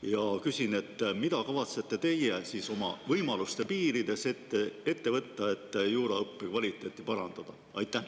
" Ja küsin: mida kavatsete teie oma võimaluste piirides ette võtta, et juuraõppe kvaliteeti parandada?